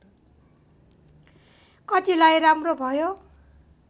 कतिलाई राम्रो भयो